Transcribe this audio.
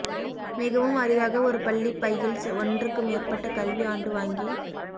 மிகவும் அரிதாக ஒரு பள்ளி பையில் ஒன்றுக்கு மேற்பட்ட கல்வி ஆண்டு வாங்கி